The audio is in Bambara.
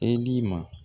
E b'i ma